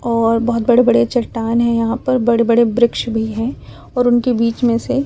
और बहुत बड़े बड़े चटान है यहाँ पर बड़े बड़े ब्रिक्ष भी है और उनके बीच में से --